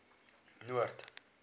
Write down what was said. noord